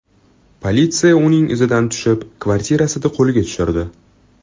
Politsiya uning izidan tushib, kvartirasida qo‘lga tushirdi.